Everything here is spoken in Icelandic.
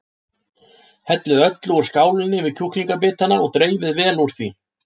Hellið öllu úr skálinni yfir kjúklingabitana og dreifið vel úr því.